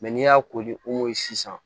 n'i y'a kori o si san